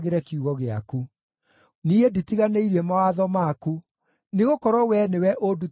Niĩ nditiganĩirie mawatho maku, nĩgũkorwo Wee nĩwe ũndutĩte ũhoro ũcio.